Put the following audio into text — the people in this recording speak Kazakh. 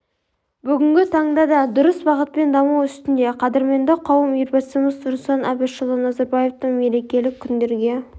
бүгінгі таңда да дұрыс бағытпен даму үстінде қадірменді қауым елбасымыз нұрсұлтан әбішұлы назарбаевтың меркелік күндерге